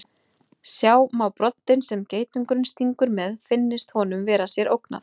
Sjá má broddinn sem geitungurinn stingur með finnist honum sér vera ógnað.